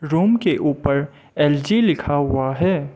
Room के ऊपर LG लिखा हुआ है।